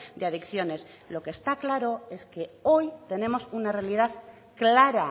de adicciones lo que está claro es que hoy tenemos una realidad clara